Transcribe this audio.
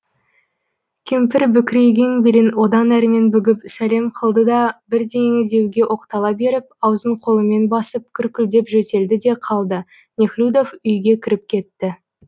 кемпір бүкірейген белін одан әрмен бүгіп сәлем қылды да бірдеңе деуге оқтала беріп аузын қолымен басып күркілдеп жөтелді де қалды нехлюдов үйге кіріп кетті